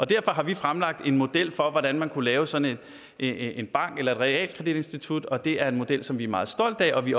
derfor har vi fremlagt en model for hvordan man kunne lave sådan et realkreditinstitut og det er en model som vi er meget stolte af og vi